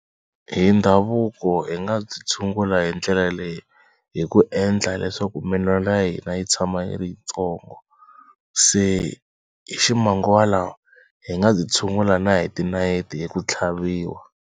Hi ndhavuko hi nga byi tshungula hi ndlela leyi hi ku endla leswaku minwala ya hina yi tshama yi ri tsongo. Se hi ximanguva lawa hi nga byi tshungula na hi ti nayiti hi ku tlhaviwa.